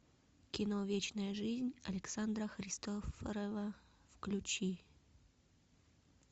кино вечная жизнь александра христофорова включи